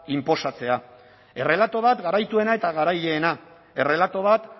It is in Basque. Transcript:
inposatzea errelato bat garaituena eta garaileena errelato bat